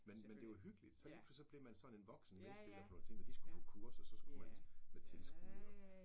Men men det var hyggeligt. Så lige pludselig så blev man sådan en voksen medspiller ting så når de skulle på kursuer så skulle man med tilskud og